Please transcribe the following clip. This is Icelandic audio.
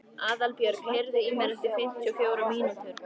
Aðalbjörg, heyrðu í mér eftir fimmtíu og fjórar mínútur.